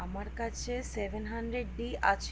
আমার কাছে seven hundred d আছে